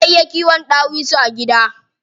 Ana iya kiwon ɗawisu a gida.